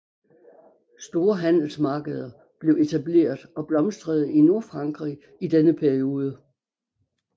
Store handelsmarkeder blev etableret og blomstrede i Nordfrankrig i denne periode